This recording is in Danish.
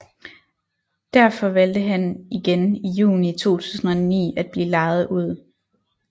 Derfor valgte han igen i Juni 2009 at blive lejet ud